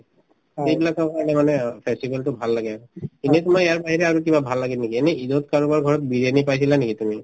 সেইবিলাকৰ কাৰণে মানে অ festival তো ভাল লাগে এনে তোমাৰ ইয়াৰ বাহিৰে আৰু কিবা ভাল লাগে নেকি এনে ঈদত কাৰোবাৰ ঘৰত বিৰিয়ানি পাইছিলা নেকি তুমি